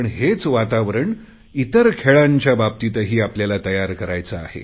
पण हेच वातावरण इतर खेळांच्या बाबतीतही आपल्याला तयार करायचे आहे